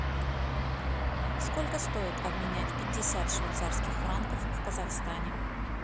сколько стоит обменять пятьдесят швейцарских франков в казахстане